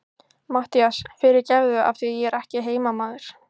MATTHÍAS: Fyrirgefðu, af því ég er ekki heimamaður.